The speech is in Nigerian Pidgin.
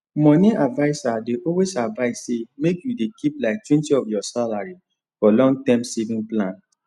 moni adviser dey always advise say make you dey keep liketwentyof ur salary for long term saving plan